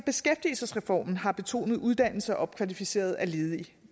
beskæftigelsesreformen har betonet uddannelse og opkvalificering af ledige